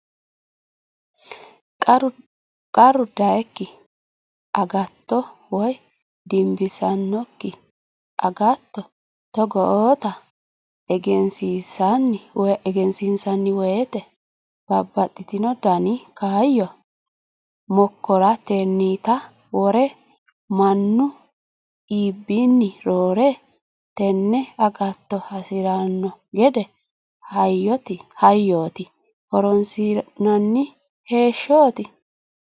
Qarru doyikki agatto woyi dimbissanokki agatto togootta egensiisanni woyte babbaxino dani kaayyo mokkoranittta worre mannu albiinni roore tene agatto hasirano gede hayyoti horonsi'nanni hee'nonniti.